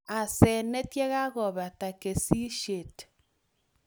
Asenet yekakobata kesishet